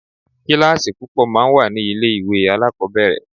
Kíláàsì púpọ̀ máa ń wà ní ilé ìwé alákọ̀ọ́bẹ̀rẹ̀.